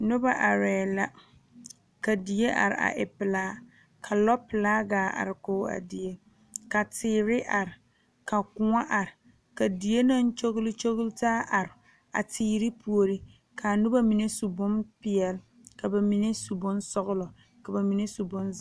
Noba are la ka die are a e pelaa ka lɔ pelaa gaa are kɔŋ a die ka teere are, ka kõɔ are ka die naŋ kyole kyole taa are a teere puori kaa noba mine su bonpeɛle ka bamine su bonsɔglɔ ka bamine su bonziiri.